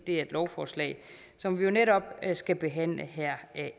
er et lovforslag som vi netop skal behandle her